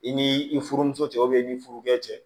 I ni i furumuso cɛ i ni furukɛ cɛ